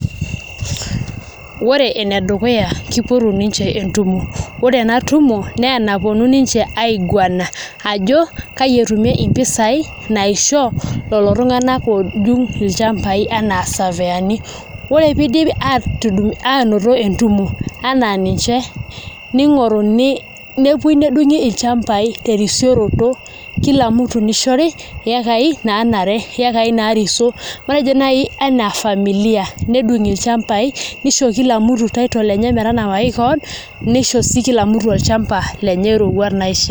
Ore enedukuya, kipotu ninche entumo. Ore enatumo, nenaponu ninche aiguana ajo, kai etumie impisai naisho, lelo tung'anak odung' ilchambai enaa safiyani. Ore pidip atudung' anoto entumo, enaa ninche, ning'oruni, nepoi nedung'i ilchambai terisioroto, kila mtu nishori, ekai nanare, yekai narisio. Matejo nai familia [cs. Nedung' ilchambai, nisho kila mtu title enye metanapaki keon, nisho si kila mtu olchamba lenye roruat naishaa.